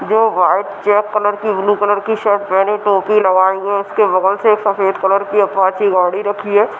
जो white check colour की blue colour की शर्ट पहनी टोपी लगाई है उसके बगल से सफ़ेद कलर की अपचि गाड़ी रखी है।